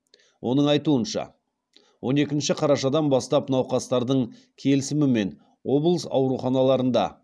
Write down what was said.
оның айтуынша он екінші қарашадан бастап науқастардың келісімімен облыс ауруханаларында